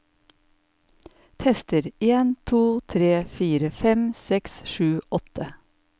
Tester en to tre fire fem seks sju åtte